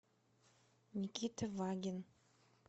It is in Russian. никита вагин